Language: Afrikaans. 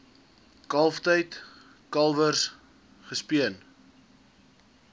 kalftyd kalwers gespeen